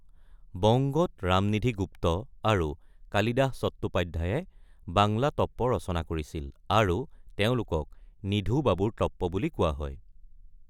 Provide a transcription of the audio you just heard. বংগত ৰামনিধি গুপ্ত আৰু কালিদাস চট্টোপাধ্য়ায়ে বাংলা টপ্পা ৰচনা কৰিছিল আৰু তেওঁলোকক নিধু বাবুৰ টপ্পা বুলি কোৱা হয়।